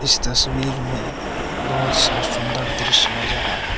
इस तस्वीर मे बहोत सा सुंदर दृश्य नज़र आ रहा--